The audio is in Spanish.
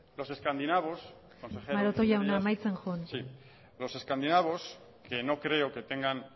los escandinavos maroto jauna amaitzen joan los escandinavos los escandinavos que no creo que tengan